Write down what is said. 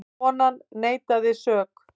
Konan neitaði sök.